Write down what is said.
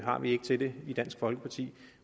har vi ikke til det i dansk folkeparti